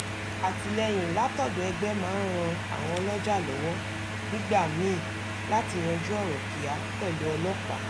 àtìlẹ́yìn látọ̀dọ̀ ẹgbẹ́ máa ń ran àwọn ọlọ́jà lọ́wọ́ nígbà míì láti yanjú ọ̀rọ̀ kíá pẹ̀lú ọlọ́pàá